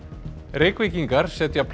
Reykvíkingar setja